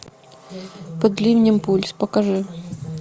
под ливнем пульс покажи